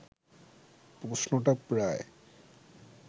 প্রশ্নটা প্রায়